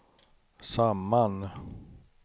samman